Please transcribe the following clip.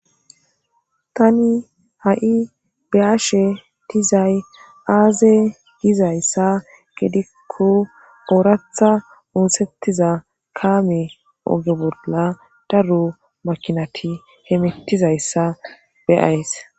tani ha7i be'ashe dizay aaze gizayssa gedikko ooratha muosettiza kaame oge bolla daru makinati hemitizayssa beyays